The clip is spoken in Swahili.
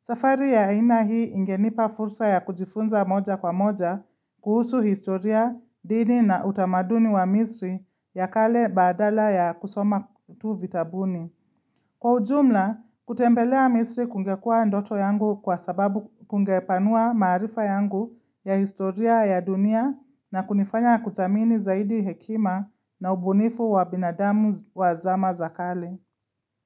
Safari ya aina hii ingenipa fursa ya kujifunza moja kwa moja, kuhusu historia, dini na utamaduni wa misri ya kale badala ya kusoma tu vitabuni. Kwa ujumla, kutembelea misri kungekuwa ndoto yangu kwa sababu kungepanua maarifa yangu ya historia ya dunia na kunifanya kudhamini zaidi hekima na ubunifu wa binadamu wa zama za kale.